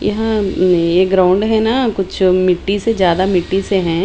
यहाँ अ ये ग्राउंड है ना कुछ मिट्टी से ज्यादा मिट्टी से हैं।